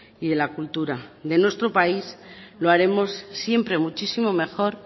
y de la cultura de nuestro país lo haremos siempre muchísimo mejor